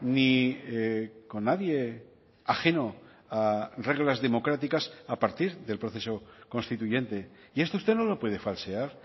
ni con nadie ajeno a reglas democráticas a partir del proceso constituyente y esto usted no lo puede falsear